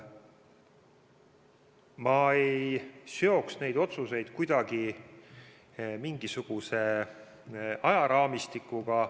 Ma ei seoks neid otsuseid kuidagi mingisuguse ajaraamistikuga.